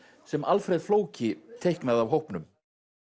sem Alfreð flóki teiknaði af hópnum